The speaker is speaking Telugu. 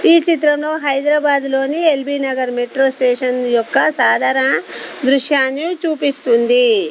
ఈ చిత్రంలో హైదరాబాదు లోని ఎల్బీనగర్ మెట్రో స్టేషన్ యొక్క సాధరన దృశ్యాన్ని చూపిస్తుంది.